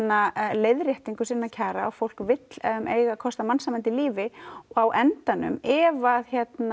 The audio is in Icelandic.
leiðréttingu sinna kjara fólk vill eiga kost á mannsæmandi lífi á endanum ef